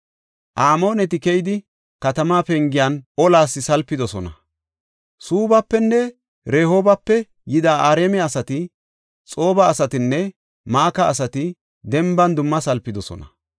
Amooneti keyidi, katamaa pengiyan olas salpidosona; Suubbafenne Rehoobape yida Araame asati, Xooba asatinne Maka asati denban dumma salpidosona.